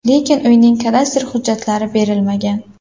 Lekin uyning kadastr hujjatlari berilmagan.